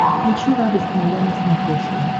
включи радость моя на смотрешке